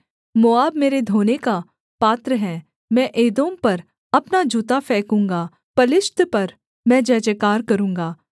मोआब मेरे धोने का पात्र है मैं एदोम पर अपना जूता फेंकूँगा पलिश्त पर मैं जयजयकार करूँगा